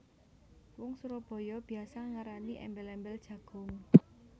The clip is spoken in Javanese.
Wong Surabaya biasa ngarani embel embel jagung